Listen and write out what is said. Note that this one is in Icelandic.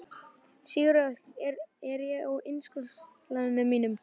Sigurey, hvað er á innkaupalistanum mínum?